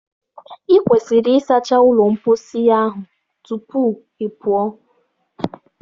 Ị kwesịrị ịsacha ụlọ mposi tupu ahụ ị pụọ!